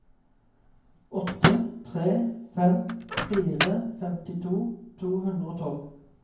åtte tre fem fire femtito to hundre og tolv